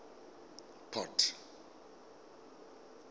port